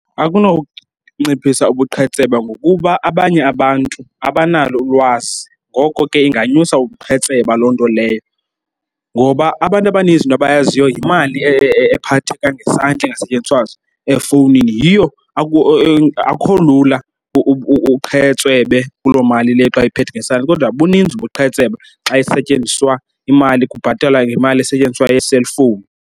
Akunonciphisa ubuqhetseba ngokuba abanye abantu abanalo ulwazi, ngoko ke inganyusa ubuqhetseba loo nto leyo. Ngoba abantu abaninzi into abayaziyo yimali ephatheka ngesandla engasetyenziswa efowunini. Yiyo , akukho lula uqhetswebe kuloo mali leyo xa uyiphethe ngesandla, kodwa buninzi ubuqhetseba xa isetyenziswa imali kubhatalwa ngemali esetyenziswa ye-cellphone.